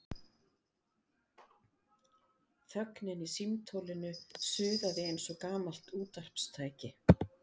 Þögnin í símtólinu suðaði eins og gamalt útvarpstæki.